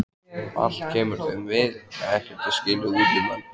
Allt kemur þeim við, ekkert er skilið útundan.